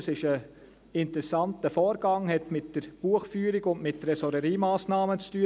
Das ist ein interessanter Vorgang, hat mit der Buchführung und Tresoreriemassnahmen zu tun.